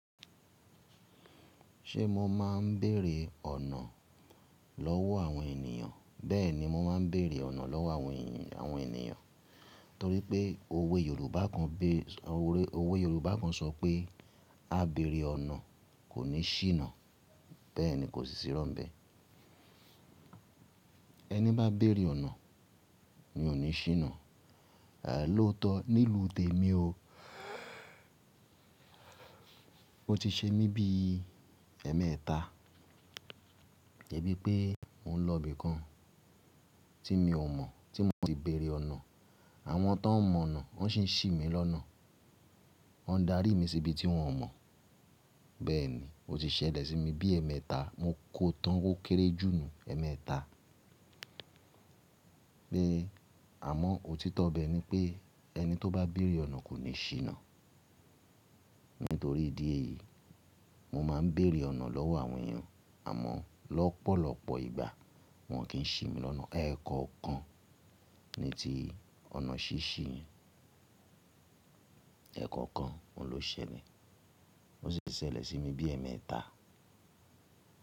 Ṣé mo máa ń béèrè ọ̀nà lọ́wọ́ àwọn ènìyàn? Bẹ́ẹ̀ni, mo máa ń béèrè ọ̀nà lọ́wọ́ àwọn ènìyàn. Torí pé òwe Yorùbá kan sọ pé “Á béèrè ọ̀nà kò ní ṣìnà”. Bẹẹni kò sì sírọ́ n bẹ́ẹ̀. Ẹni bá béèrè ọ̀nà, mi ò ní ṣìnà. Lóòótọ́, nílùú tèmi o, ó ti ṣe mí bí i ẹ̀ẹ̀mẹta. De bí pé mò ń lọ ibìkan tí mi ò mọ̀ tí mò si béèrè ọ̀nà, àwọn tán mọ̀ ọ̀nà wọ́n sì ń ṣì mí lọ́nà. Wọ́n ń darí mi sí ibi tí wọ́n mọ̀. Bẹ́ẹ̀ni, ó ti ṣẹlẹ̀ sí mi bí i ẹ̀ẹ̀mẹta. Mo kó o tán ó kéré jù nú ẹ̀ẹ̀mẹta. Pé àmọ́ òtítọ́ bẹ ni pé ẹni tó bá béèrè ọ̀nà kò ní ṣìnà. Nítorí ìdí èyí, mo máa ń béèrè ọ̀nà lọ́wọ́ àwọn èèyàn. Àmọ́ lọ́pọ̀lọpọ̀ ìgbà wọn kì í ṣì mí lọ́nà. Ẹ̀kọọ̀kan ni tí ọ̀nà ṣí ṣì í. Ẹ̀kọ̀ọkan o n lo ṣẹlẹ̀. Ó sì ṣẹlẹ̀ sí mi bí i ẹ̀ẹ̀mẹta.